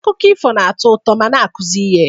Akụkọ ifo na-atọ ụtọ ma na-akụzi ihe